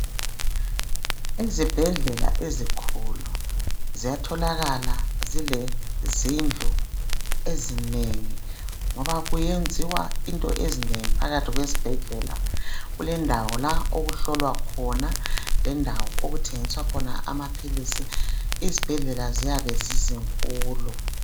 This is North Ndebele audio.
Ezibhedlela ezikhulu ,ziyatholakala zilezindlu ezinengi .Ngoba kuyenziwa into ezinengi phakathi kwesibhedlela. Kulendawo la okuhlolwa khona ,lendawo okuthengiswa khona amaphilisi. Izibhedlela ziyabe zizinkulu.